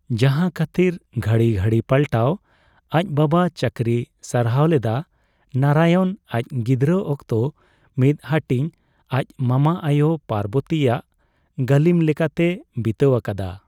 ᱡᱟᱦᱟ ᱠᱷᱟᱹᱛᱤᱨ ᱜᱷᱟᱹᱲᱤ ᱜᱷᱟᱹᱲᱤ ᱯᱟᱞᱴᱟᱣ ᱟᱪ ᱵᱟᱵᱟ ᱪᱟᱹᱠᱨᱤ ᱥᱟᱨᱦᱟᱣ ᱞᱮᱫᱟ, ᱱᱟᱨᱟᱭᱚᱱ ᱟᱪ ᱜᱤᱫᱽᱨᱟᱹ ᱚᱠᱛᱚ ᱢᱤᱫ ᱦᱟᱹᱴᱤᱧ ᱟᱪ ᱢᱟᱢᱟ ᱟᱭᱳ ᱯᱟᱨᱵᱚᱛᱤ ᱟᱜ ᱜᱟᱹᱞᱤᱢ ᱞᱮᱠᱟᱛᱮ ᱵᱤᱛᱟᱹᱣ ᱟᱠᱟᱫᱟ ᱾